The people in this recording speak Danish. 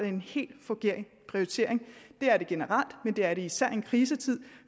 en helt forkert prioritering det er det generelt men det er det især i en krisetid